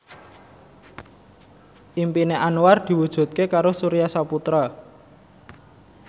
impine Anwar diwujudke karo Surya Saputra